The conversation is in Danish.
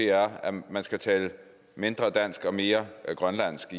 er at man skal tale mindre dansk og mere grønlandsk